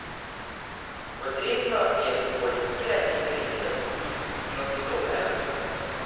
Potrebno je korigirati vrednosti, ki odstopajo.